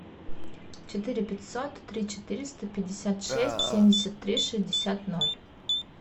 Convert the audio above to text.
четыре пятьсот три четыреста пятьдесят шесть семьдесят три шестьдесят ноль